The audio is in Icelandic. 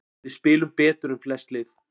Við spilum betur en flest lið